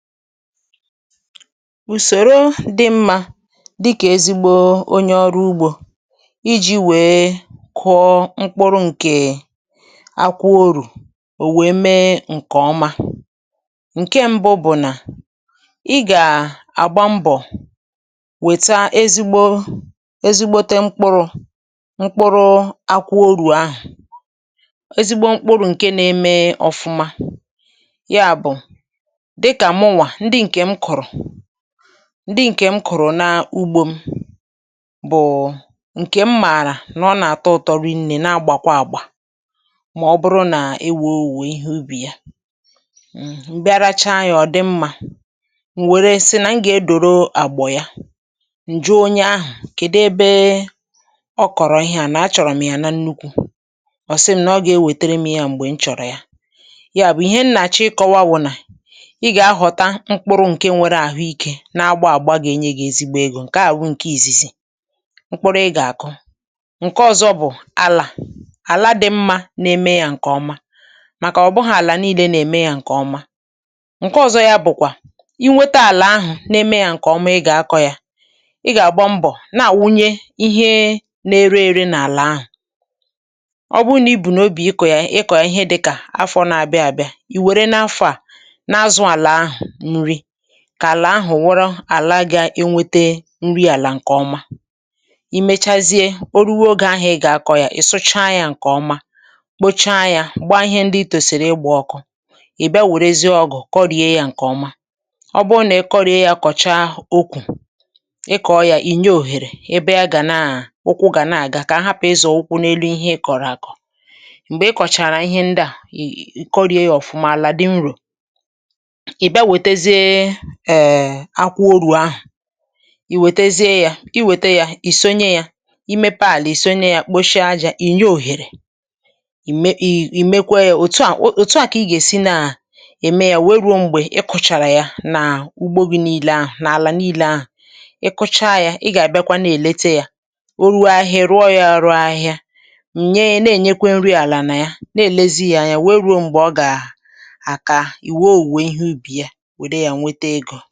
Ụ̀sọ̀rụ̀ dị mma, dị ka nke ezigbo onye ọrụ ugbò, bụ̀ otú e si kụ̀ọ mkpụrụ̀ akụ̀wọ̀rù ka ọ wee mèrè nke ọma. Ihe mbụ bụ̀ na ị gà-àgba mbọ̀ chọta ezigbo mkpụrụ̀ akụ̀wọ̀rù, ezigbo mkpụrụ̀. Mkpụrụ̀ ọma bụ̀ ndị na-amèrè nke ọma, ha bụ̀ ndị m onwe m kụ̀rụ̀ n’ugbò m, n’ihi na m maara na ha na-àtọ̀ ụ̀tọ̀ ma na-amèrè nke ọma. Ma ọ bụrụ na ọ̀ wèrè mee na owuwe ihe ubi ahụ̀ dị mma, m gà-asị na m gà-akọ̀rọ̀ ya ọzọ. Onye nwe mkpụrụ̀ ahụ̀ maara ebe ọ kụ̀rọ̀ ya, m nwekwara ike ịtụkwasị ya obi na mgbe m chọ̀rọ̀ ọzọ, ọ gà-ewètèèrè m ya. Mkpụrụ̀ akụ̀wọ̀rù dị mma na nke nwere ahụ́ ike gà-enye ezigbo mmanụ. Nke ahụ̀ bụ ihe mbụ, ihe mbụ mkpụrụ̀ ị gà-àkụ. Ihe ọzọ bụ̀ àlà ọma. Ọ bụghị àlà niile dị mma, ọ bụghị àlà niile dị mma, ma ọ bụrụ na ị hụ̀ àlà dị mma, ọ na-eme ihe niile nke ọma. Ihe ọzọ bụ̀ ị nweta àlà dị otu a ma jiri ya nke ọma. Ị gà-ahazi àlà ahụ̀, ị gà-agbakwụnye ya nri àlà na ihe mgbà nri. um Ọ bụrụ na ị were nke a n’obi gị, ma hazie àlà ahụ̀ afọ a, mgbe ọzọ bịara, àlà ahụ̀ gà-abụ̀ ala bara uru ma gà-enye gị owuwe ihe ubi ọma. Mgbe oge ruru, ị gà-akọ̀ mkpụrụ̀ ahụ̀. Ị gà-èpùwa ya nke ọma, ị gà-kpochapụ̀ ya nke ọma, gbaa ihe ndị tòsịrị ọkụ, mechaa kọọ ala ahụ̀ nke ọma, mee ka ọ maa jijiji ka mgbọrọgwụ wee gbasaa nke ọma. Ekwela ka ahịhịa soro ihe ị kụ̀rụ̀ gbagide. Mgbe ị mechàrà kụ̀o ya ma mee ihe ndị a niile, ị gà-eme ka àlà ahụ̀ dị nrò, ị gà-kpuchie ya nke ọma, ma hụ na ị kpochapùrà ya, mee ka ọ maa jijiji, ma jupụta ya nke ọma. Nke a bụ otú ị gà-esi kwàdò ya, otu otu, ruo mgbe ị gà-achàpụ̀o ya n’ugbò gị dum. N’ime àlà niile ị kụ̀rụ̀, ị gà-anọ̀ na-ele ya, ị gà-anọ̀ na-ele ya, ruo mgbe ahịhịa gà-apụta, ruo mgbe ahịhịa gà-apụta. Ka ahịhịa na-apụta, ị na-agbakwụnye nri àlà, ị na-elekọta ya, ruo mgbe oge ruru ka mkpụrụ̀ akụ̀wọ̀rù gà-àtọ̀ ọjà ma nye owuwe ihe ubi. Nke a bụ ọrụ ugbò otu ihe ebe a, ihe ọzọ ebe ahụ.